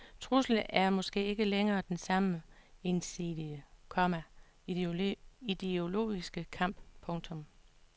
Truslen er måske ikke længere den samme ensidige, komma ideologiske kamp. punktum